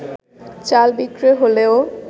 চাল বিক্রয় হলেও